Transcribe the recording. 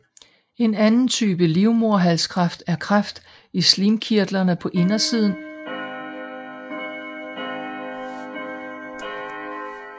En anden type livmoderhalskræft er kræft i slimkirtlerne på indersiden af livmoderhalsen